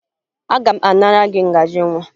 Aga m anara gị ngaji nwa